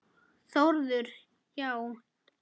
Þórður: Já?